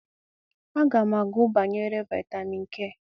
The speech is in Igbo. A ga m agu banyere vitamin k